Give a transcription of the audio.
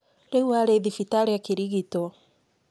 Rĩu arĩ thibitarĩ akĩrigitwo.